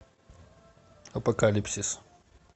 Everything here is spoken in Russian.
апокалипсис